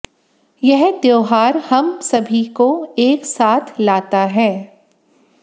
यह त्यौहार हम सभी को एक साथ लाता है